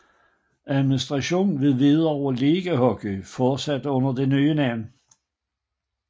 Administration ved Hvidovre Ligahockey fortsatte under det nye navn